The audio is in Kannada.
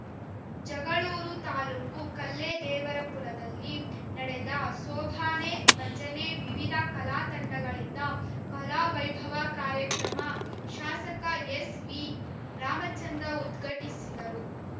ಜಗಳೂರು ತಾಲೂಕು ಕಲ್ಲೇದೇವರಪುರದಲ್ಲಿ ನಡೆದ ಸೋಬಾನೆ ಭಜನೆ ವಿವಿಧ ಕಲಾ ತಂಡಗಳಿಂದ ಕಲಾ ವೈಭವ ಕಾರ್ಯಕ್ರಮ ಶಾಸಕ ಎಸ್‌ವಿ ರಾಮಚಂದ್ರ ಉದ್ಘಟಿಸಿದರು